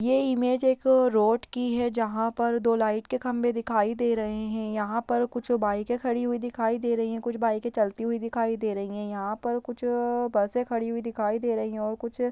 ये इमेज एक रोड की है जहाँ पर दो लाइट के खंभे दिखाई दे रहे हैं| यहाँ पर कुछ बाइके खड़ी दिखाई दे रही है कुछ बाइके चलती हुई दिखाई दे रही है| यहाँ पर कुछ अ-अ बसे खड़ी हुई दिखाई दे रही है और कुछ--